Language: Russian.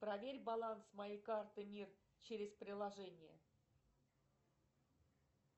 проверь баланс моей карты мир через приложение